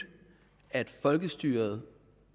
at folkestyret